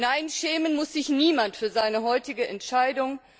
Nein, schämen muss sich niemand für seine heutige Entscheidung.